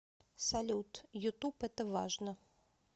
салют ютуб это важно